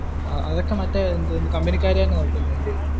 അതൊക്കെ മറ്റേ കമ്പനികാർ തന്നെ നോക്കുന്നത് അല്ലെ?